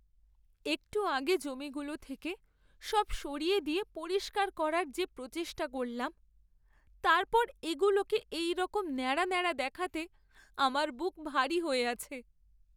একটু আগে জমিগুলো থেকে সব সরিয়ে দিয়ে পরিষ্কার করার যে প্রচেষ্টা করলাম, তারপর এগুলোকে এইরকম নেড়া নেড়া দেখাতে আমার বুক ভারি হয়ে আছে।